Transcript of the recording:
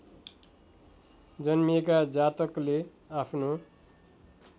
जन्मिएका जातकले आफ्नो